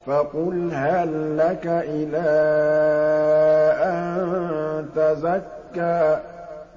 فَقُلْ هَل لَّكَ إِلَىٰ أَن تَزَكَّىٰ